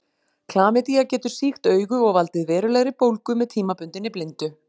Klamydía getur sýkt augu og valdið verulegri bólgu með tímabundinni blindu.